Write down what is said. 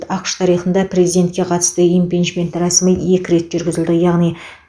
ақш тарихында президентке қатысты импичмент рәсімі екі рет жүргізілді яғни